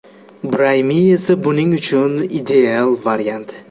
Braimi esa buning uchun ideal variant.